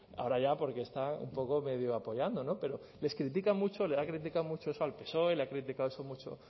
ahora ya porque están un poco medio apoyando no pero les critican mucho le ha criticado mucho eso al psoe le ha criticado eso mucho